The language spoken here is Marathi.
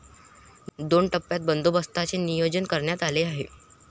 दोन टप्प्यात बंदोबस्ताचे नियोजन करण्यात आले आहे.